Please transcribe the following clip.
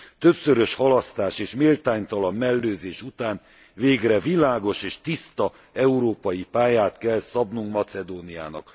Többszörös halasztás és méltánytalan mellőzés után végre világos és tiszta európai pályát kell szabnunk Macedóniának!